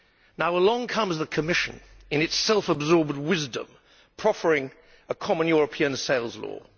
Now along comes the Commission, in its self absorbed wisdom, proffering a common European sales law.